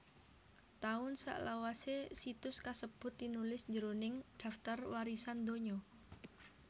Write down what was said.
Taun salawasé situs kasebut tinulis jroning Dhaptar Warisan Donya